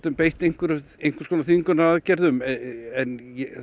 beitt einhvers einhvers konar þvingunaraðgerðum en